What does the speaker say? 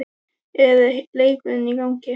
er leikurinn í gangi?